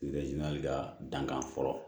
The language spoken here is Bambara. ka dankan fɔlɔ